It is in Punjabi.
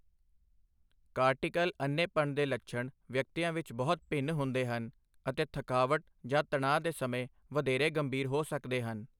ਕਾਰਟੀਕਲ ਅੰਨ੍ਹੇਪਣ ਦੇ ਲੱਛਣ ਵਿਅਕਤੀਆਂ ਵਿੱਚ ਬਹੁਤ ਭਿੰਨ ਹੁੰਦੇ ਹਨ ਅਤੇ ਥਕਾਵਟ ਜਾਂ ਤਣਾਅ ਦੇ ਸਮੇਂ ਵਧੇਰੇ ਗੰਭੀਰ ਹੋ ਸਕਦੇ ਹਨ।